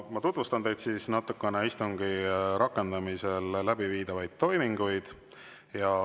Ma tutvustan teile natukene istungi rakendamisel läbiviidavaid toiminguid.